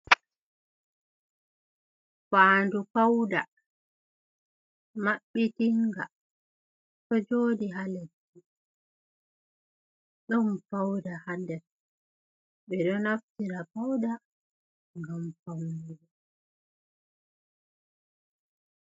Faandu fauda mabbitinga ɗo jodi ha leddi, ɗon fauda ha nder, ɓe ɗo naftira fauda ngam faunugo.